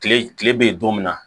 Kile kile be yen don min na